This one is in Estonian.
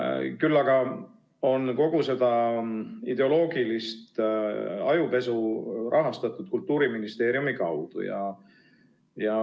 Küll aga on kogu seda ideoloogilist ajupesu rahastatud Kultuuriministeeriumi kaudu.